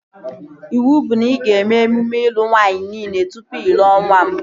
Iwu bụ na ị ga-eme emume ịlụ nwaanyị nile tụpụ ị lụọ nwa m